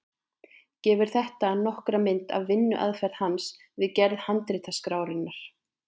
Gefur þetta nokkra mynd af vinnuaðferð hans við gerð handritaskrárinnar.